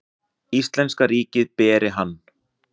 Íslenska ríkið beri hann.